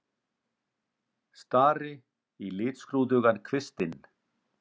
Stari í litskrúðugan kvistinn.